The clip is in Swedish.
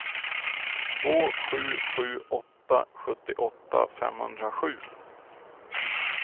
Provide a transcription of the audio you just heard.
två sju sju åtta sjuttioåtta femhundrasju